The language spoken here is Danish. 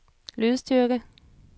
lydstyrke